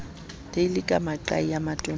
teile ka maqai a matonana